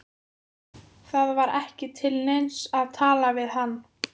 Það var ekki til neins að tala við hann.